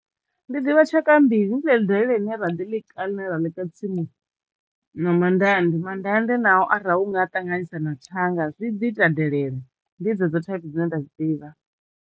Ndi ḓivha tshaka mbili. Ndi ḽeḽi delele ḽine vha ḓi ḽika ḽine ra ḽika tsumuni na mandande. Mandande nao arali u nga ṱanganisa na thanga zwi ḓi ita delele ndi dzedzo thaiphi dzine nda dzi ḓivha.